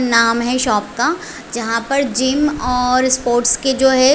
नाम है शॉप का जहां पे जिम और स्पोर्ट्स के जो है।